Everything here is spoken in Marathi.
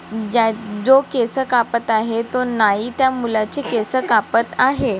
ज्या- जो केस कापत आहे तो नाई त्या मुलाचे केस कापात आहे.